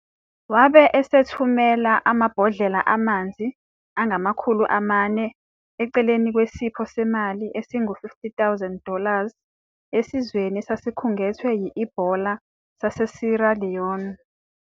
Wabe esethumela amabhodlela amanzi angama-4,000 eceleni kwesipho semali esingu- 50,000 dollars esizweni esakhungethwe yi-Ebola saseSierra Leone.